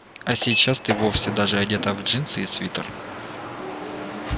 а сейчас ты вовсе даже одета в джинсы и свитер